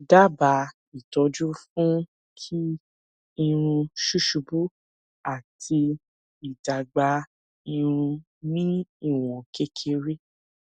daba ìtọjú fún kí irun susubu ati idagba irun ni iwon kekere